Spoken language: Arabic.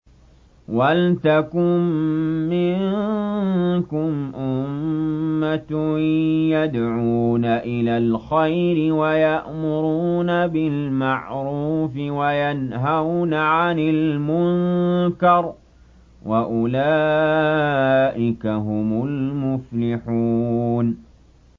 وَلْتَكُن مِّنكُمْ أُمَّةٌ يَدْعُونَ إِلَى الْخَيْرِ وَيَأْمُرُونَ بِالْمَعْرُوفِ وَيَنْهَوْنَ عَنِ الْمُنكَرِ ۚ وَأُولَٰئِكَ هُمُ الْمُفْلِحُونَ